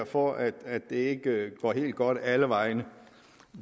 for at det ikke går helt godt alle vegne